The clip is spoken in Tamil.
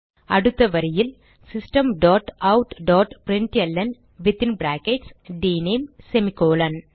அடுத்த வரியில் system dot out dot println within brackets dname semicolon